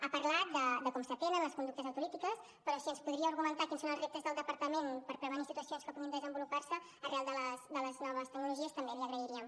ha parlat de com es tenen les conductes autolítiques però si ens podia argumentar quins són els reptes del departament per prevenir situacions que puguin desenvolupar se arran de les noves tecnologies també l’hi agrairíem